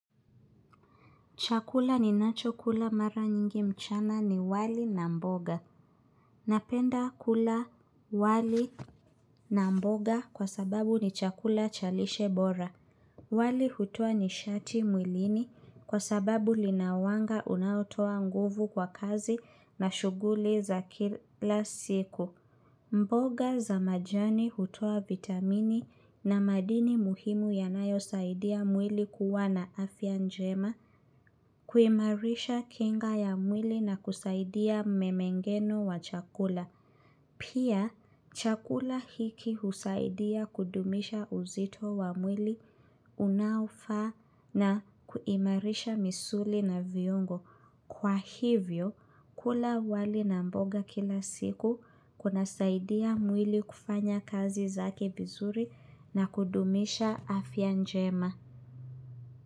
Chakula ninacho kula mara nyingi mchana ni wali na mboga. Napenda kula wali na mboga kwa sababu ni chakula cha lishe bora. Wali hutoa nishati mwilini kwa sababu lina wanga unaotoa nguvu kwa kazi na shughuli za kila siku. Mboga za majani hutoa vitamini na madini muhimu yanayosaidia mwili kuwa na afya njema kuimarisha kinga ya mwili na kusaidia mmengenyo wa chakula. Pia, chakula hiki husaidia kudumisha uzito wa mwili unaofaa na kuimarisha misuli na viungo. Kwa hivyo, kula wali na mboga kila siku kunasaidia mwili kufanya kazi zake vizuri na kudumisha afya njema.